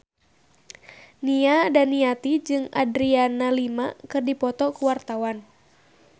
Nia Daniati jeung Adriana Lima keur dipoto ku wartawan